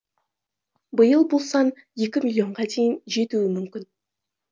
биыл бұл сан екі миллионға дейін жетуі мүмкін